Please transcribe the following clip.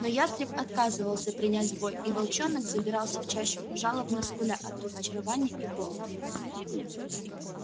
но ястреб отказывался принять бой и волчонок забирался в чащу жалобно скуля от разочарования и голода